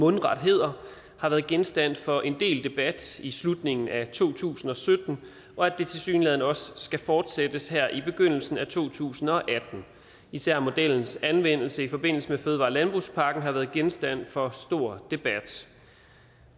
mundret hedder har været genstand for en del debat i slutningen af to tusind og sytten og at det tilsyneladende også skal fortsættes her i begyndelsen af to tusind og atten især modellens anvendelse i forbindelse med fødevare og og landbrugspakken har været genstand for stor debat